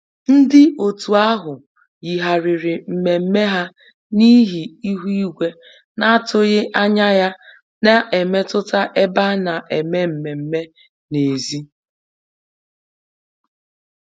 Ndị otu ahụ yigharịrị mmemme ha n'ihi ihu igwe na-atụghị anya ya na-emetụta ebe a na-eme mmemme n'èzí